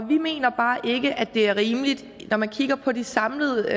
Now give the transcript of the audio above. vi mener bare ikke det er rimeligt når man kigger på de samlede